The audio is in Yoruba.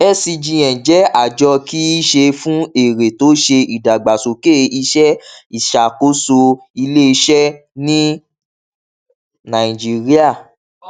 scgn jẹ àjọ kì í ṣe fún èrè tó ṣe ìdàgbàsókè iṣẹ ìṣàkóso iléiṣẹ ní nàìjíríà